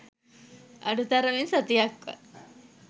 අඩු තරමින් සතියක්වත්